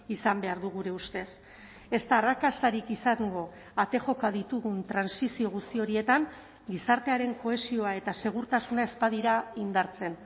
izan behar du gure ustez ez da arrakastarik izango ate joka ditugun trantsizio guzti horietan gizartearen kohesioa eta segurtasuna ez badira indartzen